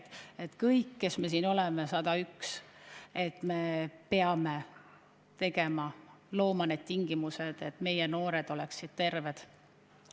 Kõik 101, kes me siin oleme, me peame looma tingimused, et meie noored oleksid terved.